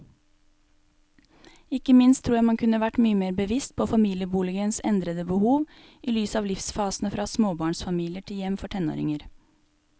Ikke minst tror jeg man kunne vært mye mer bevisst på familieboligens endrede behov i lys av livsfasene fra småbarnsfamilier til hjem for tenåringer.